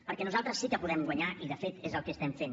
perquè nosaltres sí que podem guanyar i de fet és el que estem fent